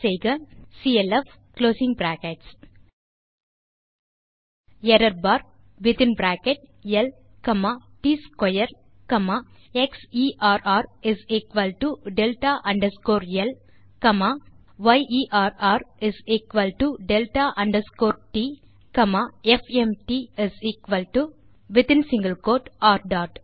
type clf error bar within bracket ல் comma ட்ஸ்க்வேர் comma xerrdelta underscore ல் காமா yerrdelta அண்டர்ஸ்கோர் ட் காமா fmtwithin ர்